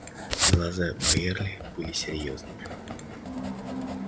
глаза байерли были серьёзными